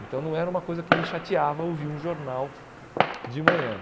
Então, não era uma coisa que me chateava ouvir um jornal de manhã.